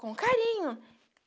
Com carinho.